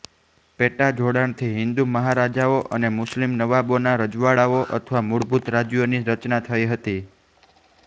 પેટા જોડાણથી હિંદુ મહારાજાઓ અને મુસ્લિમ નવાબોના રજવાડાઓ અથવા મૂળભૂત રાજ્યો ની રચના થઈ હતી